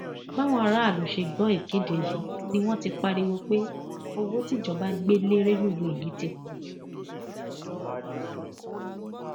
báwọn aráàlú ṣe gbọ ìkéde yìí ni wọn ti pariwo pé owó tíjọba gbé lé rélùwéè yìí ti pọ jù